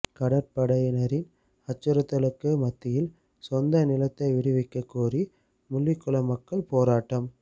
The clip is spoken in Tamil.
கடற்படையினரின் அச்சுறுத்தலுக்கு மத்தியில் சொந்த நிலத்தை விடுவிக்க கோரி முள்ளிக்குளம் மக்கள் போராட்டம்